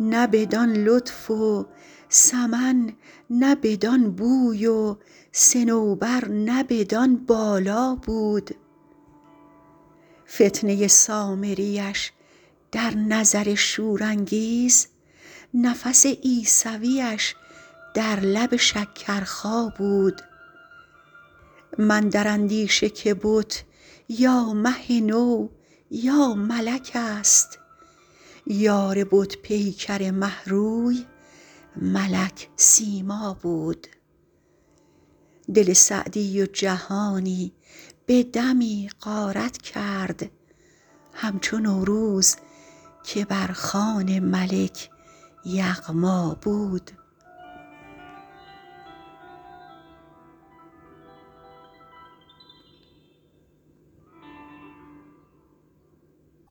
نه بدان لطف و سمن نه بدان بوی و صنوبر نه بدان بالا بود فتنه سامریش در نظر شورانگیز نفس عیسویش در لب شکرخا بود من در اندیشه که بت یا مه نو یا ملک ست یار بت پیکر مه روی ملک سیما بود دل سعدی و جهانی به دمی غارت کرد همچو نوروز که بر خوان ملک یغما بود